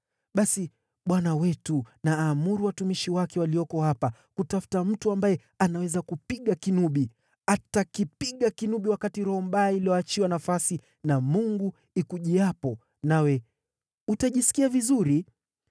Basi bwana wetu na aamuru watumishi wake walioko hapa kutafuta mtu ambaye anaweza kupiga kinubi. Atakipiga kinubi wakati roho mbaya iliyoachiwa nafasi na Mungu ikujiapo, nawe utajisikia vizuri.”